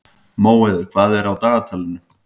Móeiður, hvað er í dagatalinu í dag?